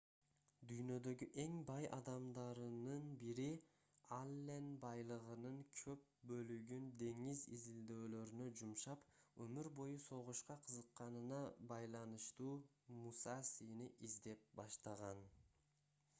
дүйнөдөгү эң бай адамдарынын бири аллен байлыгынын көп бөлүгүн деңиз изилдөөлөрүнө жумшап өмүр бою согушка кызыкканына байланыштуу мусасини издеп баштаган